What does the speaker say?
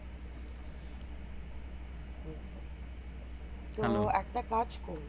একটা কাজ করি